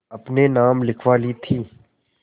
अपने नाम लिखवा ली थी